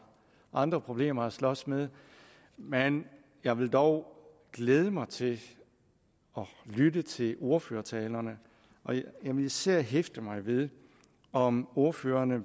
andre problemer at slås med men jeg vil dog glæde mig til at lytte til ordførertalerne jeg vil især hæfte mig ved om ordførerne